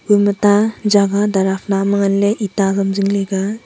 kua ema ta jagah darafna ma ngan ley eta ham zing ley ka a.